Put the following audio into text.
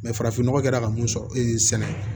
farafin nɔgɔ kɛra ka mun sɔrɔ e ye sɛnɛ ye